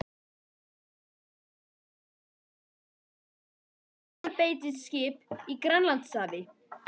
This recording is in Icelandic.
Tveir breskir tundurspillar og hjálparbeitiskip í Grænlandshafi.